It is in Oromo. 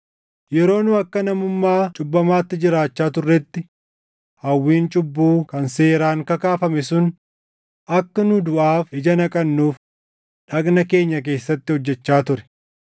Yeroo nu akka namummaa cubbamaatti jiraachaa turretti, hawwiin cubbuu kan seeraan kakaafame sun akka nu duʼaaf ija naqannuuf dhagna keenya keessatti hojjechaa ture.